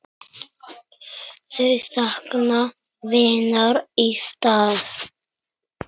Þau sakna vinar í stað.